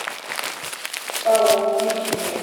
паук включи мне